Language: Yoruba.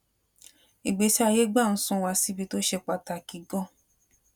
ìgbésí ayé gbà ń sún wa síbi tó ṣe pàtàkì gan an